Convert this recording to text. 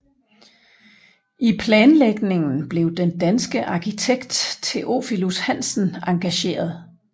I planlægningen blev den danske arkitekt Theophilus Hansen engageret